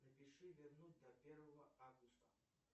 напиши вернуть до первого августа